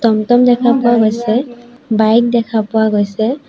টমটম দেখা পোৱা গৈছে বাইক দেখা পোৱা গৈছে।